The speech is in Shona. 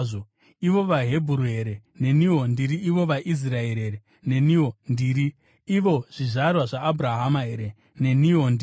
Ivo vaHebheru here? Neniwo ndiri. Ivo vaIsraeri here? Neniwo ndiri. Ivo zvizvarwa zvaAbhurahama here? Neniwo ndiri.